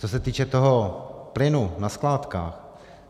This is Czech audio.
Co se týče toho plynu na skládkách.